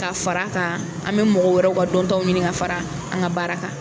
Ka fara a kan an bɛ mɔgɔ wɛrɛw ka dɔntaw ɲini ka fara an ka baara kan